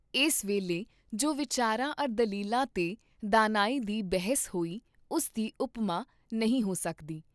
ਇਸ ਵੇਲੇ ਜੋ ਵਿਚਾਰਾਂ ਅਰ ਦਲੀਲਾਂ ਤੇ ਦਾਨਾਈ ਦੀ ਬਹਿਸ ਹੋਈ ਉਸ ਦੀ ਉਪਮਾ ਨਹੀਂ ਹੋ ਸਕਦੀ।